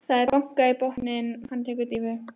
Það er bankað í botninn, hann tekur dýfu.